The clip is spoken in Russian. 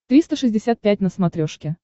триста шестьдесят пять на смотрешке